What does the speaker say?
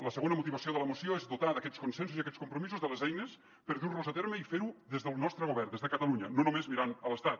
la segona motivació de la moció és dotar aquests consensos i aquests compromisos de les eines per dur los a terme i fer ho des del nostre govern des de catalunya no només mirant l’estat